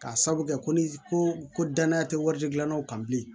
K'a sabu kɛ ni ko ko danaya tɛ waridilannaw kan bilen